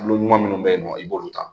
kulu ɲuman minnu bɛ yen nɔ i b'olu ta.